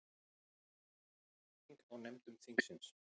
Róttæk breyting á nefndum þingsins